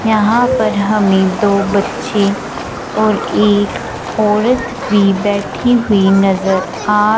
यहां पर हमें दो बच्चे और एक औरत भी बैठी हुई नजर आ--